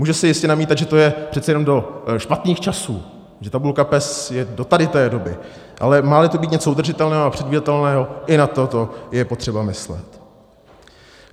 Může se jistě namítat, že to je přece jenom do špatných časů, že tabulka PES je do tady té doby, ale má-li to být něco udržitelného a předvídatelného, i na toto je potřeba myslet.